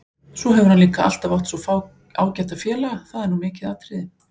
Svo hefur hann líka alltaf átt svo ágæta félaga, það er nú mikið atriði.